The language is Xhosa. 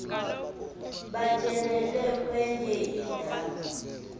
batyelele kwenye indawo